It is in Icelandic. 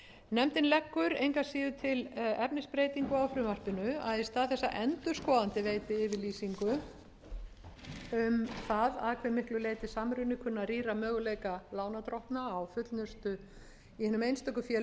nefndin leggur engu að síður til efnisbreytingu á frumvarpinu að í stað þess að endurskoðandi veiti yfirlýsingu um það að hve miklu leyti samruni kunni að rýra möguleika lánardrottna á fullnustu í hinum einstöku félögum